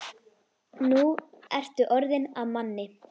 Nú ertu orðinn að manni.